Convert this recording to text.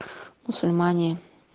мусульмане